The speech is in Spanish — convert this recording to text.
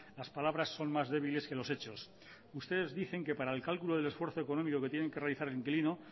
las palabras son más débiles que los hechos ustedes dicen que para el cálculo del esfuerzo económico que tiene que realizar el inquilino